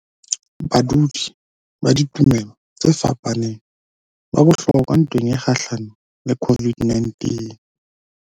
Badudi ba ditumelo tse fapaneng ba bohlokwa ntweng e kgahlanong le COVID-19